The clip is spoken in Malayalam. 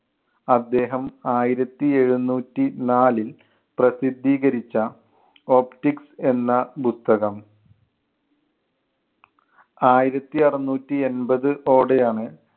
അദ്ദേഹം ആയിരത്തി എഴുന്നൂറ്റി നാലിൽ പ്രസിദ്ധീകരിച്ച optics എന്ന പുസ്തകം. ആയിരത്തി അറുനൂറ്റി എൺപത് ഓടെയാണ്